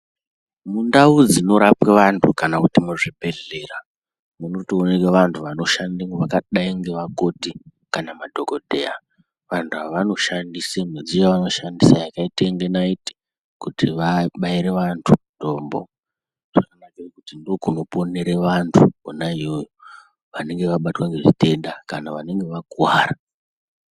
Mundau dzinorapwe vantu kana kuti muzvibhedhlera munotooneka vantu anoshandemo vakadai ngevakoti kana madhokodheya. Antu aya anoyandisa mudziyo shaanoshandisa yakaita inga naiti kuti abaira vantu mutombo. Ndiko kunoponera vantu kona iyoyo vanenge vabatwa ngezvitenda kana vanenge vakuwara .